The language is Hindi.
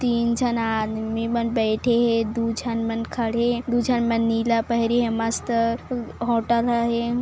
तीन जन आदमी बन बेठे हे दु जनमन खड़े हे दु जनमन नीला पहने हय मस्त होटल ह हे।